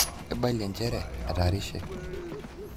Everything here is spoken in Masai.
Eibalie nchere etarishe.